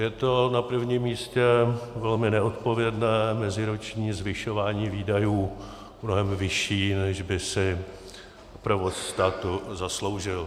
Je to na prvním místě velmi neodpovědné meziroční zvyšování výdajů, mnohem vyšší, než by si provoz státu zasloužil.